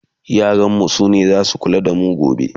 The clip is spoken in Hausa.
yaran mu sune zasu kula da mu gobe